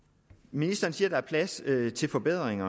ministeren siger at der er plads til forbedring